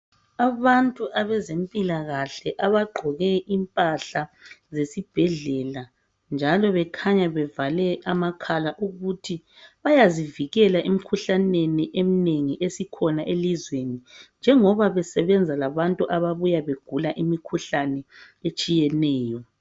Abantu abezempilakahle abagqoke impahla zesibhedlela njalo bekhanya bevale amakhala ukuthi bayazivikela emikhuhlaneni eminengi esikhona elizweni njengoba besebenza labantu ababuya begula imikhuhlane etshiyeneyo